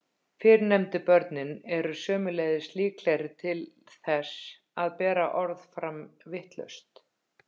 fyrrnefndu börnin eru sömuleiðis líklegri til þess að bera orð fram vitlaust